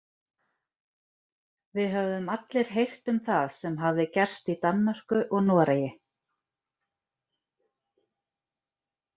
Við höfðum allir heyrt um það sem hafði gerst í Danmörku og Noregi.